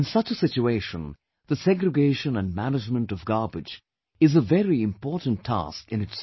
In such a situation, the segregation and management of garbage is a very important task in itself